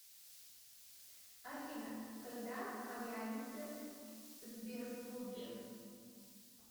афина когда появится сбербобер